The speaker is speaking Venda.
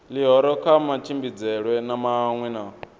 ḽihoro kha matshimbidzelwe maṅwe na